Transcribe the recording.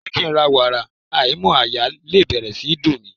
Jẹ́ kí ń ra wàrà aìímọ́ àyà lè bẹ̀rẹ̀ sí í dùn mí.